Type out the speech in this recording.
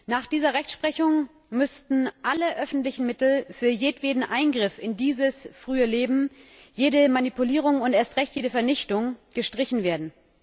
Nach dieser Rechtsprechung müssten alle öffentlichen Mittel für jedweden Eingriff in dieses frühe Leben, jede Manipulierung und erst recht jede Vernichtung gestrichen werden.